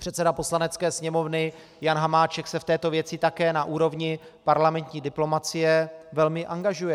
Předseda Poslanecké sněmovny Jan Hamáček se v této věci také na úrovni parlamentní diplomacie velmi angažuje.